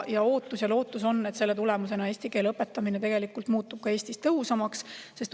Ootus ja lootus on, et selle tulemusena muutub eesti keele õpetamine Eestis tõhusamaks.